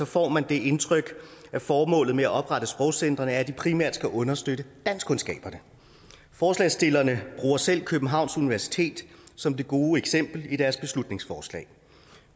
får man det indtryk at formålet med at oprette sprogcentrene er at de primært skal understøtte danskkundskaberne forslagsstillerne bruger selv københavns universitet som det gode eksempel i deres beslutningsforslag